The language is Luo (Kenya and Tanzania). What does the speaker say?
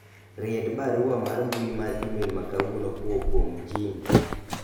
ried barua mar mbui mar email ma kawuono kowuok kuom Jim